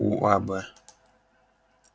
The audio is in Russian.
у а б